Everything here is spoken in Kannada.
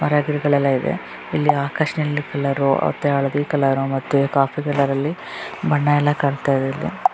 ಮರ ಗಿಡಗಳೆಲ್ಲ ಇವೆ ಇಲ್ಲಿ ಆಕಾಶದಲ್ಲಿ ಕಲರ್ ಹಳದಿ ಕಲರ್ ಮತ್ತು ಕಾಫಿ ಕಲರಲ್ಲಿ ಬಣ್ಣ ಎಲ್ಲಾ ಕಾಣ್ತಾ ಇದೆ ಇಲ್ಲಿ --